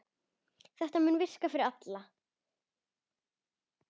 Þetta mundi virka fyrir alla.